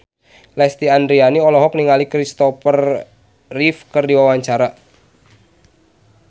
Lesti Andryani olohok ningali Kristopher Reeve keur diwawancara